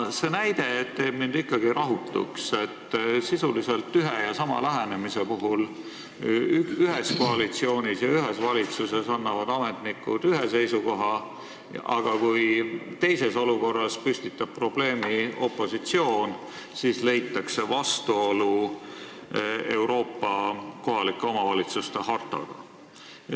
See näide teeb mind ikkagi rahutuks, et sisuliselt ühe ja sama lähenemise kohta annavad ametnikud ühe koalitsiooni ja ühe valitsuse korral ühe seisukoha, aga kui teises olukorras püstitab probleemi opositsioon, siis leitakse vastuolu Euroopa kohaliku omavalitsuse hartaga.